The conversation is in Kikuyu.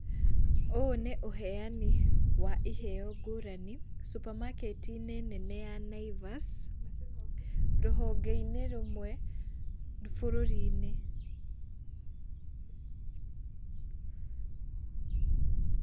Ũũ nĩ ũheani wa iheo ngũrani, supamaket -inĩ nene ya Naivas rũhonge-inĩ rũmwe bũrũri-inĩ.